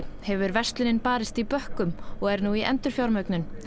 hefur verslunin barist í bökkum og er nú í endurfjármögnun